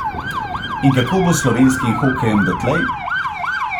In kako bo s slovenskim hokejem dotlej?